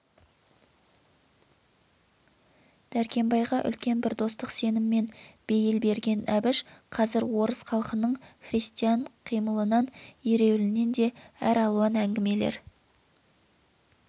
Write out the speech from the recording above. дәркембайға үлкен бір достық сеніммен бейіл берген әбіш қазір орыс халқының крестьян қимылынан ереуілінен де әр алуан әңгімелер